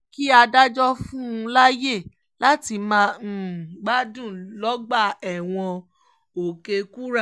kí adájọ́ fún un láàyè láti máa gbádùn lọ́gbà ẹ̀wọ̀n òkè-kúrà